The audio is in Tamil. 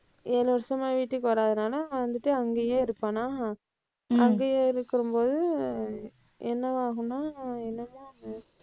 ஏழு வருஷமா வீட்டுக்கு வராததுனால வந்துட்டு அங்கேயே இருப்பானா. அங்கேயே இருக்கும்போது என்னவாகும்னா என்னமோ,